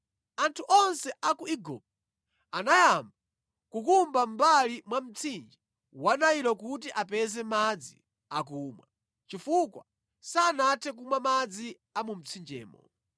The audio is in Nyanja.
Anthu onse a ku Igupto anayamba kukumba mʼmbali mwa mtsinje wa Nailo kuti apeze madzi akumwa, chifukwa sanathe kumwa madzi a mu mtsinjemo.